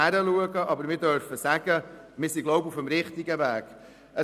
Wir dürfen aber sagen, dass wir wohl auf dem richtigen Weg sind.